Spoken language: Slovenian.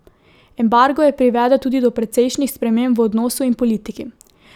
Embargo je privedel tudi do precejšnjih sprememb v odnosu in politiki.